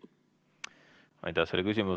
Aitäh selle küsimuse eest!